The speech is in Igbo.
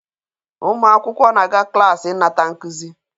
Ụmụ akwụkwọ na-aga klaasị ịnata nkuzi